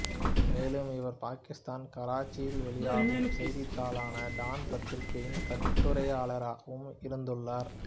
மேலும் இவர் பாகிஸ்தானின் கராச்சியில் வெளியாகும் செய்தித்தாளான டான் பத்திரிகையின் கட்டுரையாளராகவும் இருந்துள்ளார்